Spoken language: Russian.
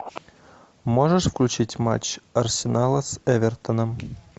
можешь включить матч арсенала с эвертоном